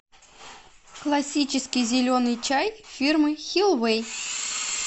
классический зеленый чай фирмы хилвей